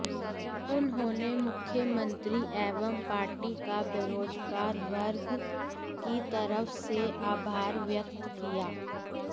उन्होंने मुख्यमंत्री एवं पार्टी का बेरोजगार वर्ग की तरफ से आभार व्यक्त किया